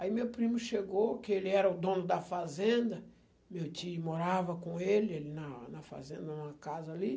Aí meu primo chegou, que ele era o dono da fazenda, meu tio morava com ele alí na na fazenda, numa casa ali.